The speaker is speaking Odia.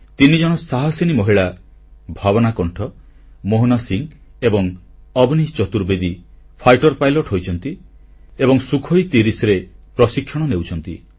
ତିନିଜଣ ସାହାସିନୀ ମହିଳା ଭାବନା କଣ୍ଠ ମୋହନା ସିଂହ ଏବଂ ଅବନୀ ଚତୁର୍ବେଦୀ ଯୁଦ୍ଧବିମାନର ପାଇଲଟ ହୋଇଛନ୍ତି ଏବଂ ସୁଖୋଇ30ରେ ପ୍ରଶିକ୍ଷଣ ନେଉଛନ୍ତି